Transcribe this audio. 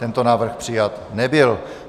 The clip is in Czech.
Tento návrh přijat nebyl.